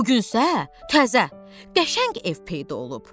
Bu gün isə təzə, qəşəng ev peyda olub.